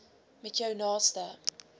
met jou naaste